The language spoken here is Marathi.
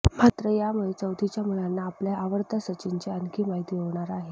मात्र यामुळे चौथीच्या मुलांना आपल्या आवडत्या सचिनची आणखी माहिती होणार आहे